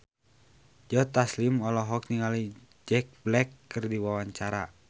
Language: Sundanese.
Joe Taslim olohok ningali Jack Black keur diwawancara